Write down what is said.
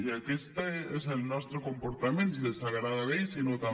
i aquest és el nostre comportament si els agrada bé i si no també